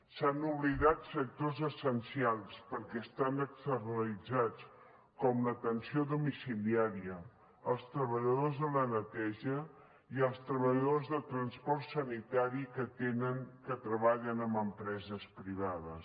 s’han oblidat sectors essencials perquè estan externalitzats com l’atenció domiciliària els treballadors de la neteja i els treballadors de transport sanitari que treballen en empreses privades